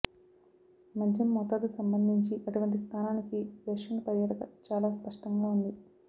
మద్యం మోతాదు సంబంధించి అటువంటి స్థానానికి రష్యన్ పర్యాటక చాలా స్పష్టంగా ఉంది